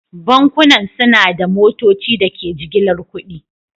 Bankunan suna da motocin da ke jigilar kuɗi.